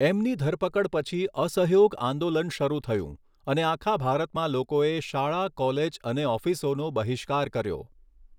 એમની ધરપકડ પછી અસહયોગ આંદોલન શરૂ થયું અને આખા ભારતમાં લોકોએ શાળા, કોલેજ અને ઑફિસોનો બહિષ્કાર કર્યો.